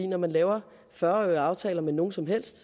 når man laver fyrre årige aftaler med nogen som helst